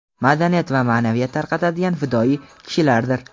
madaniyat va ma’naviyat tarqatadigan fidoyi kishilardir.